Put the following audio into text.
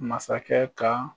Masakɛ kan